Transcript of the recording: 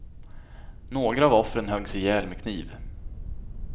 Några av offren höggs ihjäl med kniv.